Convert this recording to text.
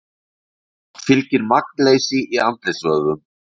Oft fylgir magnleysi í andlitsvöðvum.